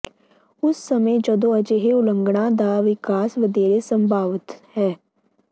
ਉਸ ਸਮੇਂ ਜਦੋਂ ਅਜਿਹੇ ਉਲੰਘਣਾ ਦਾ ਵਿਕਾਸ ਵਧੇਰੇ ਸੰਭਾਵਤ ਹੈ